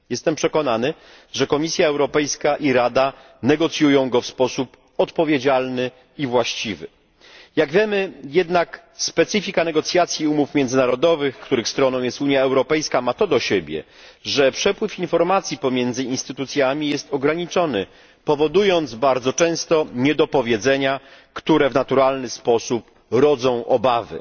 Jestem przekonany, że Komisja Europejska i Rada negocjują go w sposób odpowiedzialny i właściwy. Jak jednak wiemy, specyfika negocjacji umów międzynarodowych, w których stroną jest Unia Europejska, ma to do siebie, że przepływ informacji pomiędzy instytucjami jest ograniczony, powodując bardzo często niedopowiedzenia, które w naturalny sposób rodzą obawy.